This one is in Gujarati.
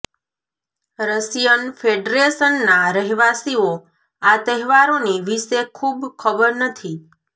રશિયન ફેડરેશન ના રહેવાસીઓ આ તહેવારોની વિશે ખૂબ ખબર નથી